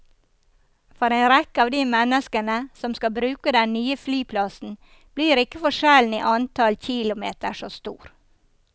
For en rekke av de menneskene som skal bruke den nye flyplassen blir ikke forskjellen i antall kilometer så stor.